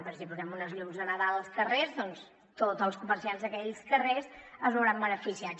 perquè si posem uns llums de nadal als carrers doncs tots els comerciants d’aquells carrers se’n veuran beneficiats